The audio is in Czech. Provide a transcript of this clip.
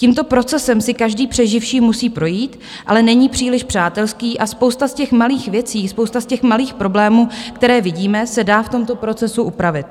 Tímto procesem si každý přeživší musí projít, ale není příliš přátelský a spousta z těch malých věcí, spousta z těch malých problémů, které vidíme, se dá v tomto procesu upravit.